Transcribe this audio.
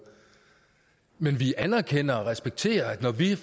men vi anerkender og respekterer at når vi i